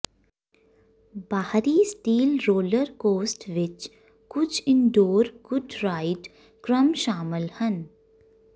ਬਾਹਰੀ steel roller coaster ਵਿੱਚ ਕੁਝ ਇਨਡੋਰ ਗੂਡ ਰਾਈਡ ਕ੍ਰਮ ਸ਼ਾਮਲ ਹਨ